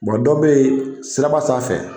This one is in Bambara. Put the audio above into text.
dɔ be yen, sira ba sanfɛ